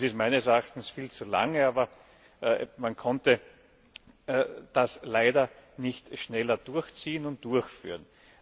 Das ist meines Erachtens viel zu lange, aber man konnte das leider nicht schneller durchziehen und durchführen.